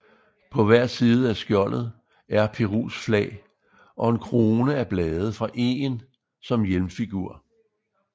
På hver side af skjoldet er Perus flag og en krone af blade fra egen som hjelmfigur